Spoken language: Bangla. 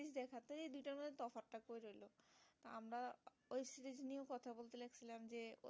আমরা ওই series নিয়ে কথা বলছিলাম যে